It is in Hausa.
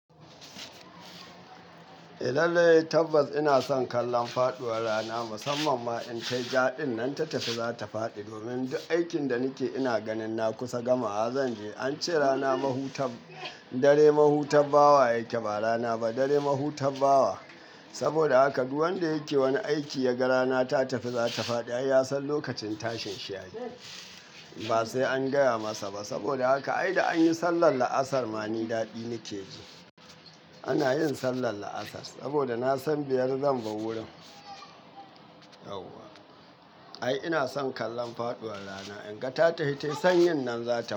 Lallai tabbas ina son kallon faɗuwar rana, musamman ma in ta yi jaɗin nan ta tafi za ta faɗi. Domin duk aikin da nike ina ganin na kusa gamawa, zan je. An ce rana mahutan dare mahutar bawa yake ba rana ba, dare mahutabbawa. Saboda haka duk wanda yake wani aiki ya ga rana ta tafi za ta faɗi, ai ya san lokacin tashin shi yayi ba sai an gaya masa ba. Saboda haka ai da an yi sallar la'asar ma ni daɗi nike ji. Ana yin sallar la'asar saboda na san biyar zan bar wurin. Ai ina son kallon faɗuwar rana in ga ta tahi, tai sanyin nan za ta faɗi.